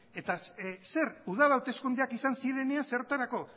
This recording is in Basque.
eta zer udal hauteskundeak izan zirenean zertarako